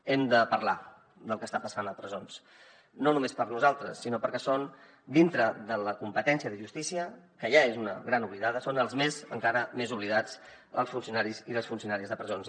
hem de parlar del que està passant a presons no només per nosaltres sinó perquè són dintre de la competència de justícia que ja és una gran oblidada els encara més oblidats els funcionaris i les funcionàries de presons